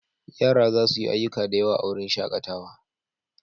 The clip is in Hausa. Yara za su yi ayyuka da yawa a wurin shakatawa.